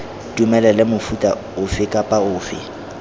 dumelele mofuta ofe kapa ofe